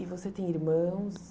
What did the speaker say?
E você tem irmãos?